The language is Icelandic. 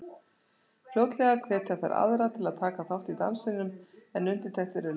Fljótlega hvetja þær aðra til að taka þátt í dansinum en undirtektir eru litlar.